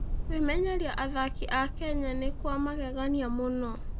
Kũmenyeria athaki a Kenya nĩ kwa magegania mũno.